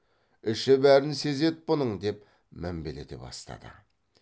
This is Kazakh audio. іші бәрін сезеді бұның деп мінбелете бастады